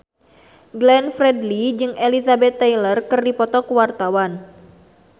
Glenn Fredly jeung Elizabeth Taylor keur dipoto ku wartawan